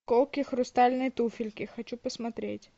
колкие хрустальные туфельки хочу посмотреть